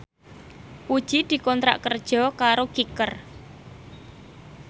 Puji dikontrak kerja karo Kicker